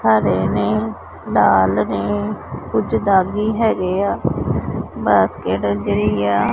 ਹਰੇ ਨੇ ਲਾਲ ਨੇ ਕੁਝ ਦਾੱਗੀ ਹੈਗੇਆ ਬਾਸਕੇਟ ਜੇਹੜੀ ਆ--